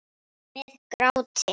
Með gráti.